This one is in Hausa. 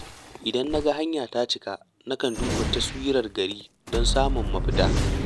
Idan na ga hanya ta cika na kan duba taswirar gari don samun mafita.